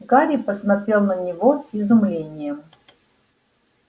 гарри посмотрел на него с изумлением